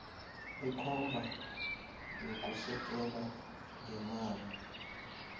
ikomba yokusekela ngeemali